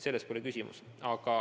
Selles pole küsimus.